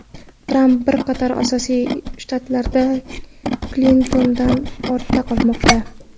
Tramp bir qator asosiy shtatlarda Klintondan ortda qolmoqda.